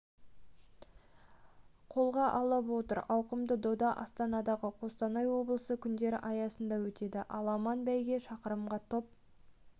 қолға алып отыр ауқымды дода астанадағы қостанай облысы күндері аясында өтеді аламан бәйге шақырымға топ